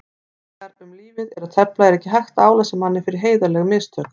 Þegar um lífið er að tefla er ekki hægt að álasa manni fyrir heiðarleg mistök.